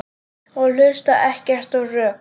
Og hlusta ekkert á rök.